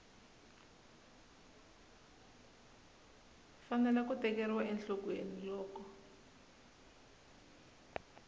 fanele ku tekeriwa enhlokweni loko